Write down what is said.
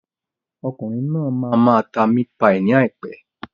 Okùnrin náà máa máa ta mit-pai ní àìpé.